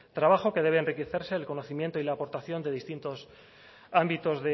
trabajo que debe enriquecerse el conocimiento y la aportación de distintos ámbitos